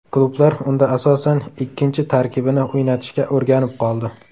Klublar unda asosan ikkinchi tarkibini o‘ynatishga o‘rganib qoldi.